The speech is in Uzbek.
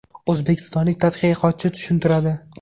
O‘zbekistonlik tadqiqotchi tushuntiradi.